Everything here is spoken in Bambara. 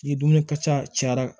Ni dumuni ka ca cayara